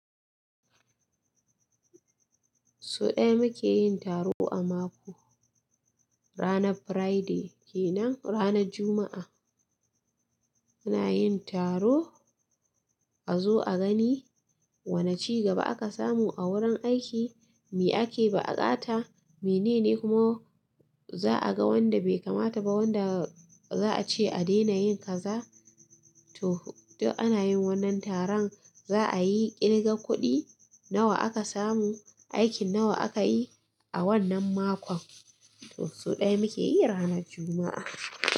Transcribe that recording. So ɗaya muke yin taro a mako, ranar Friday kenan, ranar Juma'a. Muna yin taro a zo a gani wane cigaba aka samu agurin aiki mi ake da bukata minene kuma za a ga wanda bai kamata ba wanda za a ce a dena yin kaza. To, duk ana yin wannan taron za a yi kirga kuɗi nawa aka samu, aikin nawa aka yi a wannan makon. To so ɗaya muke yi ranar Juma'a.